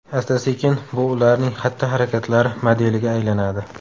Asta-sekin bu ularning xatti-harakatlari modeliga aylanadi.